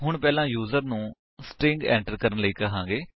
ਅਸੀ ਪਹਿਲਾਂ ਯੂਜਰ ਨੂੰ ਸਟ੍ਰਿੰਗ ਐਟਰ ਕਰਣ ਲਈ ਕਹਾਂਗੇ